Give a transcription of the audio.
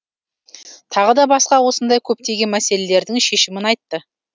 тағы да басқа осындай көптеген мәселелердің шешімін айтты